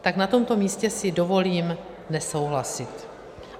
Tak na tomto místě si dovolím nesouhlasit.